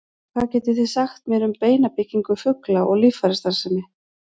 hvað getið þið sagt mér um beinabyggingu fugla og líffærastarfsemi